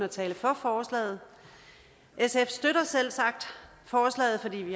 og tale for forslaget sf støtter selvsagt forslaget fordi vi